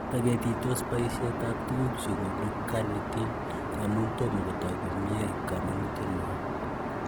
Toketitos boisietab tuguk chekonu carnitine amun tom kotok komie komonietnywan.